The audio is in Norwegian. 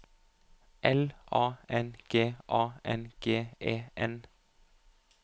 L A N G A N G E N